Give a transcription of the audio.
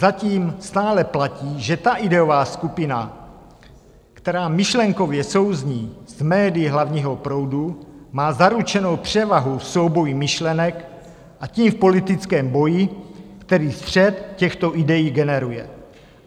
Zatím stále platí, že ta ideová skupina, která myšlenkově souzní s médii hlavního proudu, má zaručenu převahu v souboji myšlenek, a tím v politickém boji, který střet těchto idejí generuje.